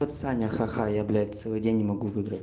ха-ха-ха я блять целый день не могу выиграть